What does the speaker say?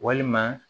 Walima